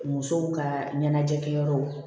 Musow ka ɲɛnajɛkɛyɔrɔw